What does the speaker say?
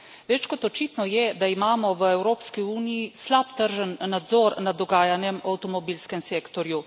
Več kot očitno je, da imamo v Evropski uniji slab tržni nadzor nad dogajanjem v avtomobilskem sektorju.